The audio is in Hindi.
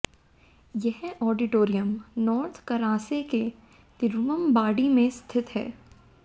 यह ऑडिटोरियम नॉर्थ करासे के तिरुवंबाडी में स्थित है